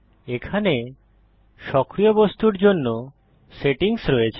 এখানে সক্রিয় বস্তুর জন্য সেটিংস রয়েছে